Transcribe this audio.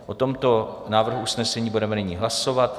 O tomto návrhu usnesení budeme nyní hlasovat.